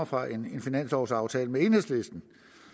fra en finanslovsaftale med enhedslisten